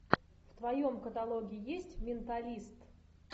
в твоем каталоге есть менталист